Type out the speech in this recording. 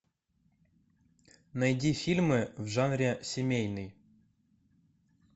найди фильмы в жанре семейный